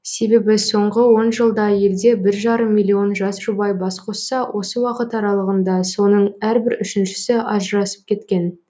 себебі соңғы он жылда елде бір жарым миллион жас жұбай бас қосса осы уақыт аралығында соның әрбір үшіншісі ажырасып кеткен